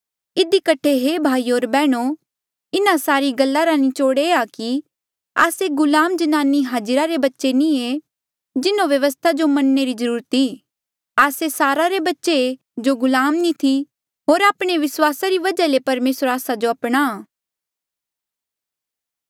इधी कठे हे भाईयो होर बैहणो इन्हा सारी गल्ला रा निचोड़ ये आ कि आस्से गुलाम जन्नानी हाजिरा रे बच्चे नी जिन्हों व्यवस्था जो मनणे री जरूरत ई आस्से सारा रे बच्चे ऐें जो गुलाम नी थी होर आपणे विस्वासा री वजहा ले परमेसर आस्सा जो अपनाहां